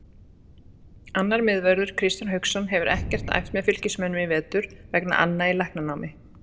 Annar miðvörður, Kristján Hauksson, hefur ekkert æft með Fylkismönnum í vetur vegna anna í læknanámi.